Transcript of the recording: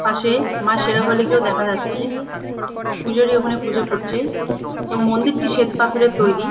পাশে মা সেরাবলীকেও দেখা যাচ্ছে। পূজারী ওখানে পুজো করছে এবং মন্দিরটি শ্বেত পাথরের তৈরী।